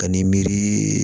Ka ni miiri